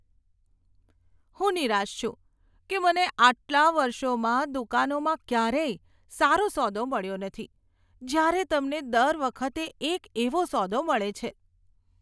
હું નિરાશ છું કે મને આટલા વર્ષોમાં દુકાનોમાં ક્યારેય સારો સોદો મળ્યો નથી, જ્યારે તમને દર વખતે એક એવો સોદો મળે છે.